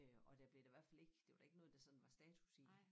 Øh og der blev da i hvert fald ik det var da ikke noget der sådan var status i